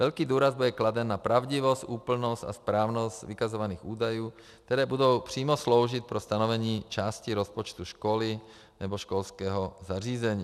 Velký důraz bude kladen na pravdivost, úplnost a správnost vykazovaných údajů, které budou přímo sloužit pro stanovení části rozpočtu školy nebo školského zařízení.